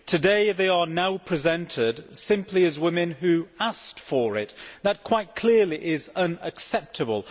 Today they are now presented simply as women who asked for it'. That quite clearly is unacceptable.